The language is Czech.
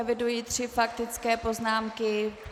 Eviduji tři faktické poznámky.